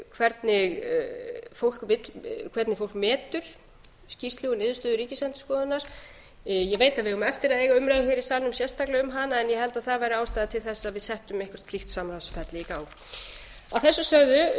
hvernig fólk metur skýrslu og niðurstöðu ríkisendurskoðunar ég veit að við eigum eftir að eiga umræðu hér í salnum sérstaklega um hana en ég held að það væri ástæða til þess að við settum eitthvert slíkt samráðsferli í gang að þessu sögðu vil